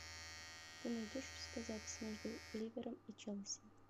ты найдешь у себя запись между ливером и челси